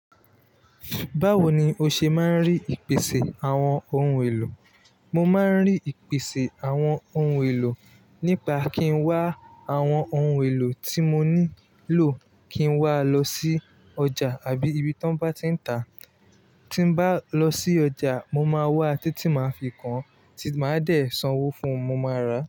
Báwo ni o ṣe máa ń rí ìpèsè àwọn ohun èlò? Mo máa ń rí ìpèsè àwọn ohun èlò nípa kí ń wá àwọn ohun èlò tí mo nílò kí ń wá lọ sí ọjà àbí ibi tí wọ́n bá ti ń tà. Tí ń bá lọ sí ọjà, mo máa wá a títí màá fi kan, tí màá dẹ̀ sanwó fún un, mo máa rà á.